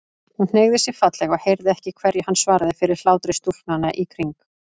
Hún hneigði sig fallega og heyrði ekki hverju hann svaraði fyrir hlátri stúlknanna í kring.